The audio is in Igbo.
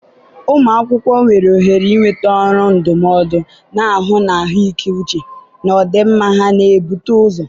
ụmụ akwụkwọ nwere ohere ịnweta ọrụ ndụmọdụ, na-ahụ na ahụike uche na ọdịmma ha na-ebute ụzọ.